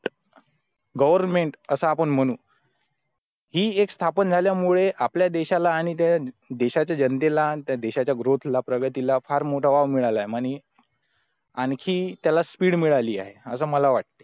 government असं आपण म्हणू ही एक स्थापन झाल्यामुळे आपल्या देशाला आणि त्या देशातील जनतेला त्या देशाचा growth ला प्रगतीला फार मोठा वाव मिळाला आहे आणि आणखी त्याला स्पीड मिळाली आहे असं मला वाटतं